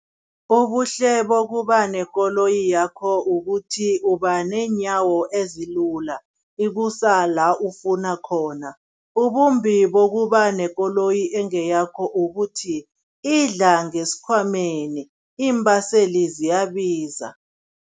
Ubuhle bokuba nekoloyi yakho ukuthi uba neenyawo ezilula, ikusa la ufuna khona. Ubumbi bokuba nekoloyi ekungeyakho ukuthi, idla ngesikhwameni, iimbaseli ziyabiza.